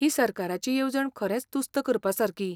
ही सरकाराची येवजण खरेंच तुस्त करपासारकी.